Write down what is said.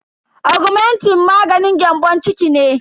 Augmentin maganin gyambon ciki ne.